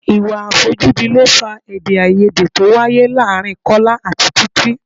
Ìwà àfojúdi ló fà èdè-áiyedé tó wáyé láàárín Kọ́lá àti Títí.